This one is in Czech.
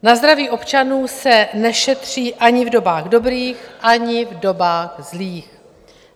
Na zdraví občanů se nešetří ani v dobách dobrých, ani v dobách zlých.